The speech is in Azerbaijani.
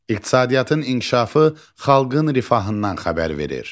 İqtisadiyyatın inkişafı xalqın rifahından xəbər verir.